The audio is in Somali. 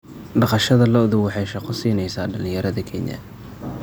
Dhaqashada lo'du waxay shaqo siinaysaa dhalinyarada Kenya.